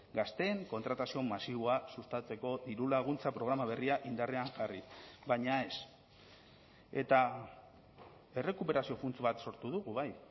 gazteen kontratazio masiboa sustatzeko dirulaguntza programa berria indarrean jarri baina ez eta errekuperazio funts bat sortu dugu bai